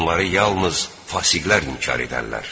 Onları yalnız fasiqlər inkar edərlər.